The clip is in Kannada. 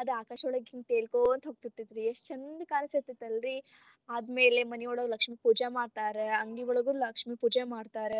ಅದ ಆಕಾಶವಳಗ ಹಿಂಗ ತೆಲಕೊಂತ ಹೋಗತೀರತೇತಿ ಎಷ್ಟ್ ಚಂದ ಕಾಣಸ್ತಿರತೆತಿ ಅಲ್ಲರೀ ಅದಾದ್ಮೇಲೆ ಮನಿಯೊಳಗ ಲಕ್ಷ್ಮಿ ಪೂಜಾ ಮಾಡ್ತಾರ ಅಂಗಡಿಯೊಳಗೂ ಲಕ್ಷ್ಮಿ ಪೂಜಾ ಮಾಡ್ತಾರ